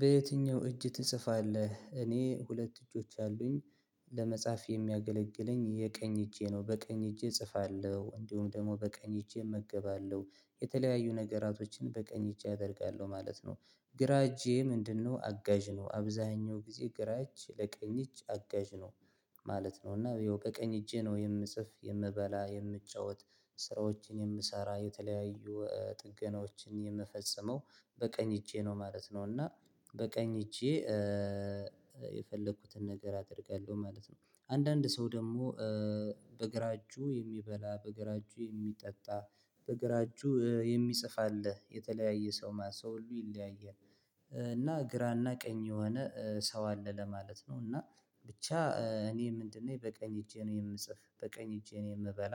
በየትኛው እጅ ትጽፋለህ እኔ ሁለት እጆች አሉኝ ለመጻፍ የሚያገለግለኝ የቀኝ እጄ ነው በቀኝ እጄ እጽፋለሁ እንዲሁም ደግሞ በቀኝ እጄ እመገባለሁ የተለያዩ ነገራቶችን በቀኝ እጅ አደርጋለሁ ማለት ነው ግራ እጄ ምንድነው? አጋዥ ነው አብዛኛው ጊዜ ግራ እጅ ለቀኝ እጅ አጋዥ ነው ማለት ነው እና ያው በቀኝ እጄ ነው የምጽፍ የምበላ የምጫወት ስራዎችን የምሰራ የተለያዩ ጥገናዎችን የምፈጽመው በቀኝ እጄ ነው ማለት ነው። እና በቀኝ እጄ የፈለኩትን ነገር አደርጋለሁ ማለት ነው። አንዳንድ ሰው ደግሞ በግራ እጁ የሚበላ በግራ እጁ የሚጠጣ በግራ እጁ የሚጽፍ አለ የተለያየ ሰው ሰው ሁሉ ይለያያል። እና ግራና ቀኝ የሆነ ሰው አለ ለማለት ነው። እና ብቻ እኔ ምንድነው በቀኝ እጄ ነው የምጽፍ በቀኝ እጄ ነው የምበላ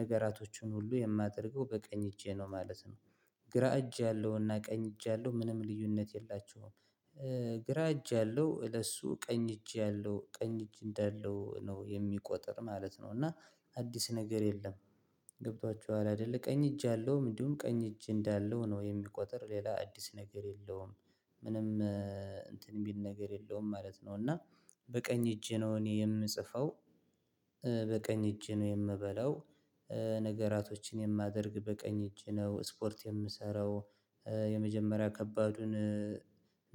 ነገራቶቹን ሁሉ የማደርገው በቀኝ እጄ ነው ማለት ነው። ግራ እጅ ያለውና ቀኝ እጅ ያለው ምንም ልዩነት የላቸውም። ግራ እጅ ያለው ለሱ ቀኝ እጅ ያለው ቀኝ እጅ እንዳለው ነው የሚቆጥር ማለት ነው እና አዲስ ነገር የለም። ገብቷችኋል አይደለ ቀኝ እጅ ያለውም እንዲሁም ቀኝ እጅ እንዳለው ነው የሚቆጥር ሌላ አዲስ ነገር የለውም። ምንም እንትን ቢል ነገር የለውም ማለት ነው እና በቀኝ እጄ ነው እኔ የምጽፈው። በቀኝ እጄ ነው የምበላው። ነገራቶችን የማደርግ በቀኝ እጅ ነው ስፖርት የምሰራው። የመጀመሪያ ከባዱን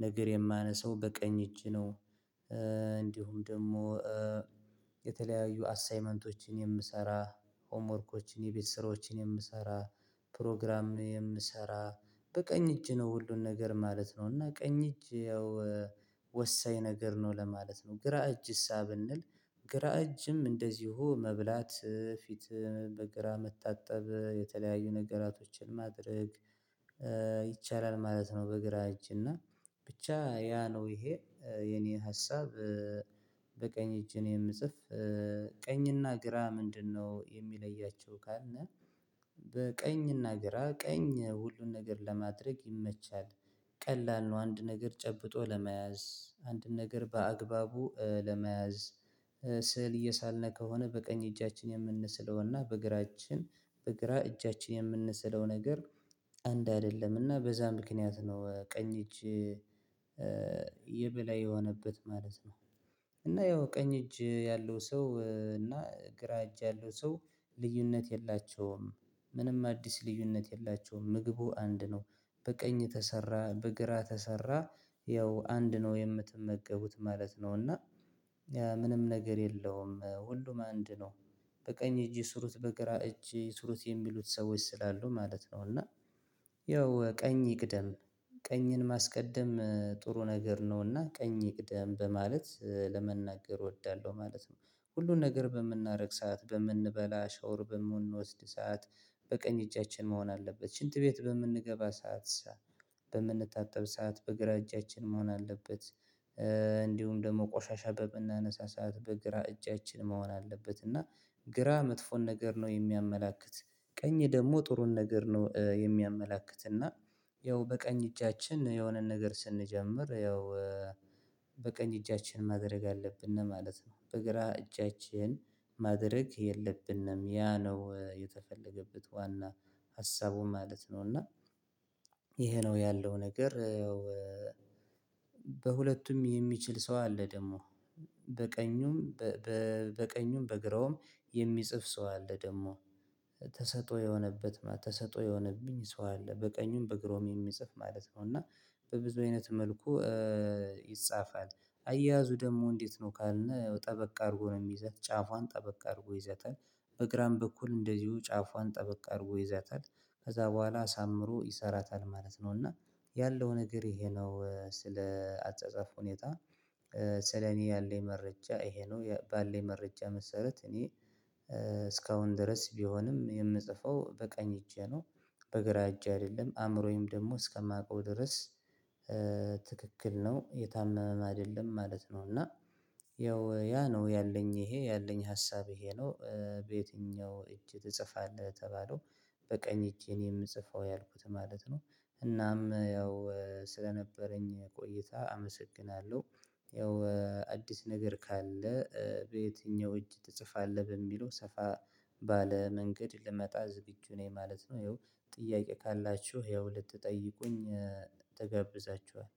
ነገር የማነሳው በቀኝ እጅ ነው። እንዲሁም ደግሞ የተለያዩ አሳይመንቶችን የምሰራ ሆሞወርኮችን የቤት ስራዎችን የምሰራ ፕሮግራም የምሰራ በቀኝ እጅ ነው። ሁሉን ነገር ማለት ነው እና ቀኝ እጅ ያው ወሳኝ ነገር ነው ለማለት ነው። ግራ እጅሳ ብንል ግራ እጅም እንደዚሁ መብላት ፊት በግራ መታጠብ የተለያዩ ነገራቶችን ማድረግ ይቻላል ማለት ነው። በግራ እጅ እና ብቻ ያ ነው ይሄ የኔ ሀሳብ። በቀኝ እጅ እኔ የምጽፍ ቀኝና ግራ ምንድነው? የሚለያቸው ካልን በቀኝና ግራ ቀኝ ሁሉን ነገር ለማድረግ ይመቻል። ቀላል ነው አንድ ነገር ጨብጦ ለመያዝ አንድ ነገር በአግባቡ ለመያዝ ስዕል እየሳልን ከሆነ በቀኝ እጃችን የምንስለውና በእግራችን በእግራ እጃችን የምንስለው ነገር አንድ አይደለምና በዛ ምክንያት ነው ቀኝ እጅ የቤላ የሆነበት ማለት ነው። እና ያው ቀኝ እጅ ያለው ሰው እና ግራ እጅ ያለው ሰው ልዩነት የላቸውም። ምንም አዲስ ልዩነት የላቸውም ምግቡ አንድ ነው። በቀኝ ተሰራ በግራ ተሰራ ያው አንድ ነው የምትመገቡት ማለት ነው። እና ምንም ነገር የለውም ሁሉም አንድ ነው። በቀኝ እጅ ስሩት በግራ እጅ ስሩት የሚሉት ሰዎች ስላሉ ማለት ነው። እና ያው ቀኝ ይቅደም ቀኝን ማስቀደም ጥሩ ነገር ነውና ቀኝ ይቅደም በማለት ለመናገር እወዳለሁ ማለት ነው። ሁሉን ነገር በምናረግሳት በምንበላ ሻውር በምንወስድ ሰዓት በቀኝ እጃችን መሆን አለበት ሽንት ቤት በምንገባ ሰዓት በምንጣጠብ ሰዓት በግራ እጃችን መሆን አለበት። እንዲሁም ደግሞ ቆሻሻ በምናነሳ በመነሳሳት በግራ እጫችን መሆን አለበት እና ግራ መጥፎን ነገር ነው የሚያመላክት። ቀኝ ደግሞ ጥሩን ነገር ነው የሚያመላክት። እና ያው በቀኝ እጃችን የሆነን ነገር ስንጀምር ያው በቀኝ እጃችን ማድረግ አለብን ነው ማለት ነው። በግራ እጃችን ማድረግ የለብንም ያ ነው የተፈለገበት ዋና ሀሳቡ ማለት ነው። እና ይሄ ነው ያለው ነገር ያው። በሁለቱም የሚችል ሰው አለ ደግሞ በቀኙም በቀኙም በግራውም የሚጽፍ ሰው አለ ደግሞ ተሰጦ የሆነበት ማለት ተሰጦ የሆነብኝ ሰው አለ በቀኙም በግሮም የሚጽፍ ማለት ነው። እና በብዙ አይነት መልኩ ይጻፋል። አያያዙ ደግሞ እንዴት? ነው ካልነው ጠበቅ አድርጎ ነው የሚይዘው ጫፏን ጠበቅ አድርጎ ይዘታል በግራም በኩል እንደዚሁ ጫፏን ጠበቅ አድርጎ ይዘታል ከዛ በኋላ አሳምሮ ይሰራታል ማለት ነው። እና ያለው ነገር ይሄ ነው ስለ አጸጸፍ ሁኔታ። ስለ እኔ ያለኝ መረጃ እሄ ነው ባለኝ መረጃ መሰረት እኔ እስካሁን ድረስ ቢሆንም የምጽፈው በቀኝ እጄ ነው። በግራ እጄ አይደለም አእምሮዬም ደግሞ እስከማውቀው ድረስ ትክክል ነው የታመመ አይደለም ማለት ነው። እና ያው ያ ነው ያለኝ ይሄ ያለኝ ሀሳብ ይሄ ነው። በየትኛው እጅ ትጽፋለ የተባለው? በቀኝ እጅ እኔ የምጽፈው ያልኩት ማለት ነው። እናም ያው ስለነበረኝ ቆይታ አመሰግናለሁ። ያው አዲስ ነገር ካለ በየትኛው እጅ ትጽፋለህ? በሚለው ሰፋ ባለ መንገድ ልመጣ ዝግጁ ነኝ ማለት ነው። ይኸው ጥያቄ ካላችሁ ይኸው ልትጠይቁኝ ተጋብዛችኋል